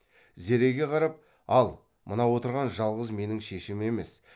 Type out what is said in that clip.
зереге қарап ал мына отырған жалғыз менің шешем емес